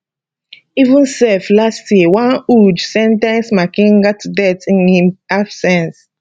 even sef last year one udge sen ten ce makenga to death in im absence